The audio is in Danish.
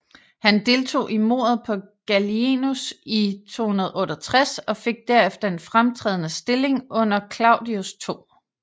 Han deltog i mordet på Gallienus i 268 og fik derefter en fremtrædende stilling under Claudius 2